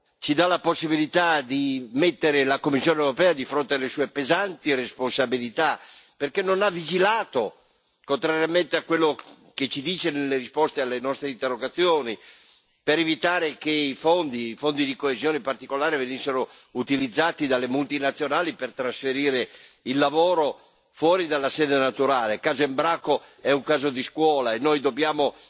Signora Presidente, onorevoli colleghi, questa vicenda dell'Embraco ci dà la possibilità di mettere la Commissione europea di fronte alle sue pesanti responsabilità, perché non ha vigilato contrariamente a quello che ci dice nelle risposte alle nostre interrogazioni per evitare che i fondi, i fondi di coesione in particolare, venissero utilizzati dalle multinazionali per trasferire il lavoro fuori dalla sede naturale. Il caso Embraco è un caso di scuola, e noi dobbiamo